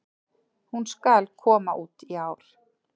Hún SKAL koma út í ár!